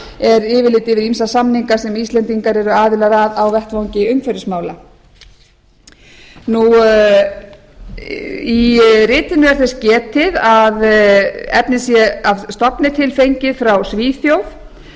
er yfirlit yfir ýmsa samninga sem íslendingar eru aðilar að á vettvangi umhverfismála í ritinu er þess getið að efnið sé að stofni til fengið frá svíþjóð